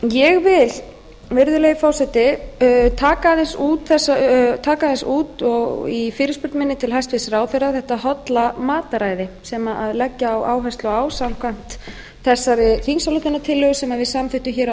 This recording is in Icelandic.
ég vil virðulegi forseti taka aðeins út í fyrirspurn minni til hæstvirts ráðherra þetta holla mataræði sem leggja á áherslu á samkvæmt þessari þingsályktunartillögu sem við samþykktum hér á